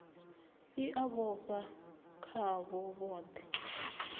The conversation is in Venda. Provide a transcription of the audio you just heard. i a vhofha khavho vhothe